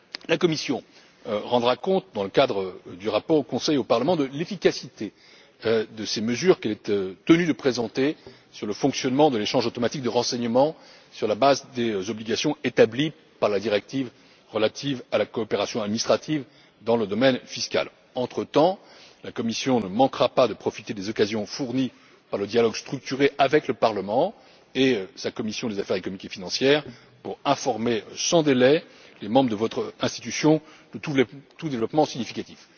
La Commission rendra compte, dans le cadre du rapport au Conseil et au Parlement, de l'efficacité des mesures qu'elle est tenue de présenter sur le fonctionnement de l'échange automatique de renseignements sur la base des obligations établies par la directive relative à la coopération administrative dans le domaine fiscal. La Commission ne manquera pas de profiter entretemps des occasions fournies par le dialogue structuré avec le Parlement et sa commission des affaires économiques et financières pour informer sans délai les membres de votre institution de tout développement significatif.